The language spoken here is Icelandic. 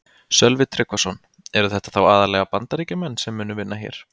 Sölvi Tryggvason: Eru þetta þá aðallega Bandaríkjamenn sem munu vinna hér?